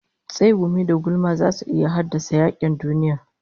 Tsegumi da gulma zasu iya haddasa yakin duniya